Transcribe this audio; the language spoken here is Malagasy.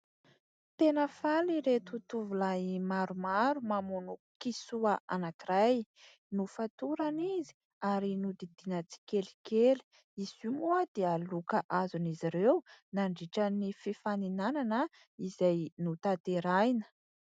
Tena faly ireto tovolahy maromaro, mamono kisoa anankiray. Nofatorana izy ary nodidiana tsikelikely. Izy io moa dia loka azon'izy ireo nandritran'ny fifaninanana izay notanterahina.